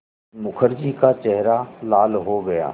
मुखर्जी का चेहरा लाल हो गया